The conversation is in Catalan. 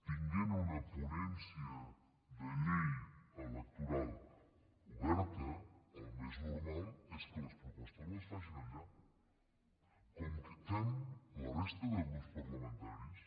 tenint una ponència de llei electoral oberta el més normal és que les propostes les facin allà com fem la resta de grups parlamentaris